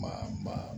Maa maa